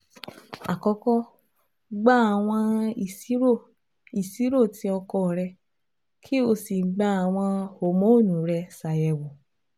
akọkọ gba awọn iṣiro iṣiro ti ọkọ rẹ ki o si gba awọn homonu rẹ ṣayẹwo